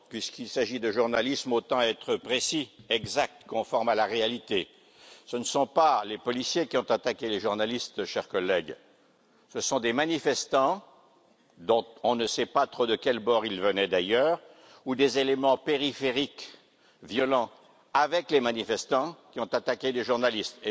Puisqu'il s'agit de journalisme, autant être précis, exact et conforme à la réalité ce ne sont pas les policiers qui ont attaqué les journalistes, chers collègues, ce sont des manifestants, dont on ne sait pas trop de quel bord ils venaient d'ailleurs, ou des éléments périphériques violents, avec les manifestants, qui ont attaqué des journalistes.